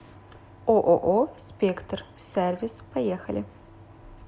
ооо спектр сервис поехали